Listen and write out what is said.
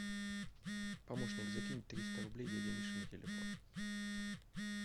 помощник закинь триста рублей дяде мише на телефон